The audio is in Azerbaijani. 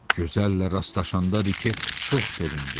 Gözəllə rastlaşanda Rike çox sevindi.